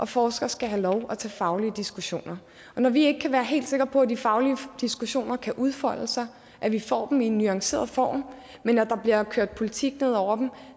forskere skal have lov til at tage faglige diskussioner når vi ikke kan være helt sikre på at de faglige diskussioner kan udfolde sig at vi får dem i en nuanceret form men at der bliver kørt politik ned over dem